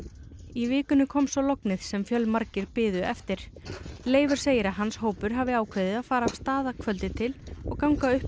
í vikunni kom svo lognið sem fjölmargir biðu eftir Leifur segir að hans hópur hafi ákveðið að fara af stað að kvöldi til og ganga upp